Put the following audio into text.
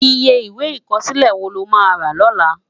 Iyé Iwé ikòsilé wó ló má rá lòlá?